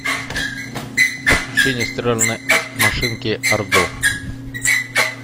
подключение стиральной машинки ардо